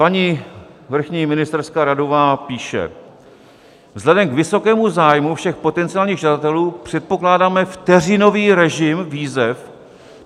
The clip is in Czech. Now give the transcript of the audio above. Paní vrchní ministerská radová píše: "Vzhledem k vysokému zájmu všech potenciálních žadatelů předpokládáme vteřinový režim výzev.